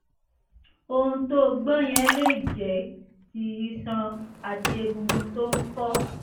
ohùn tó o gbọ́ yẹn lè jẹ́ ti iṣan àti egungun tó ń fọ́